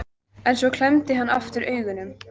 En svo klemmdi hann aftur augun.